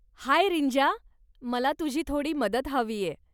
हाय रींजा, मला तुझी थोडी मदत हवीय.